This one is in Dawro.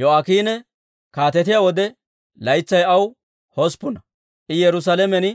Yo'aakiine kaatetiyaa wode, laytsay aw hosppuna; I Yerusaalamen